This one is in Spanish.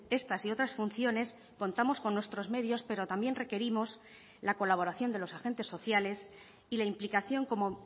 estas y otras funciones contamos con nuestros medios pero también requerimos la colaboración de los agentes sociales y la implicación como